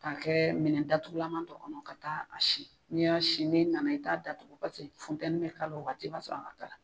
K'a kɛ minɛn datugulama dɔ kɔnɔ ka taa a sin n'i y'a sin n'i nana i t'a datugu paseke funteni bɛ k'a la o waati i b'a sɔrɔ a ka kala.